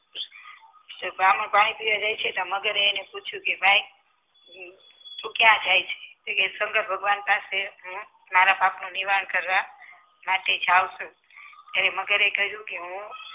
તો બ્રાહ્મણ પાણી પીવા જાય છે તો મગર એ એને પૂછ્યું કે ભાઈ તું ક્યાં જાય છે શંકર ભગવાન પાસે હું મારા પાપનું નિવારણ કરવા માટે જાઉં છું એને મગરે કહ્યું કે હું